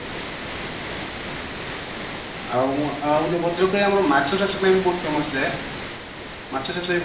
ଆଉ ଗୋଟେ ଭଦ୍ରକ ରେ ଆମର ମାଛ ଚାଷ ପାଇଁ ବି ବୋହୁତ famous ଯେ ମାଛ ଚାଷ